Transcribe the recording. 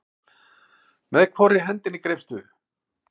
Með hvorri hendinni greipstu?